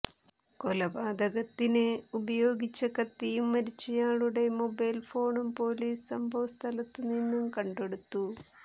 കൊലപാതകത്തിന് ഉപയോഗിച്ച കത്തിയും മരിച്ചയാളുടെ മൊബൈൽ ഫോണും പോലീസ് സംഭവസ്ഥലത്തുനിന്ന് കണ്ടെടുത്തു